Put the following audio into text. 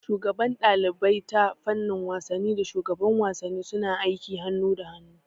Shugaban ɗalibai ta fannin wasanni da shugaban wasanni suna aiki hanu da hanu